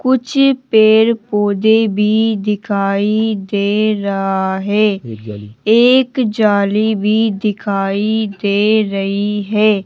कुछ पेड़ पौधे भी दिखाई दे रहा है एक जाली भी दिखाई दे रही है।